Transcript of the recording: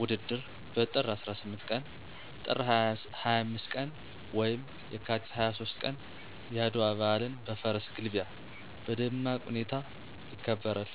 ውድድር በጥር 18ቀን፣ ጥር 25 ቀን ወይም የካቲት 23 ቀን የአድዋ በአልን በፈረስ ግልቢያ በደማቅ ሁኔታ ይከበራል።